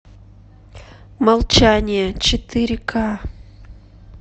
молчание четыре к